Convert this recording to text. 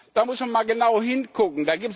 Da muss man mal genau hingucken.